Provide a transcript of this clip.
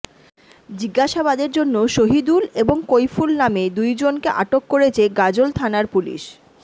জিজ্ঞাসাবাদের জন্য সহিদুল এবং কইফুল নামে দুইজনকে আটক করেছে গাজোল থানার পুলিশ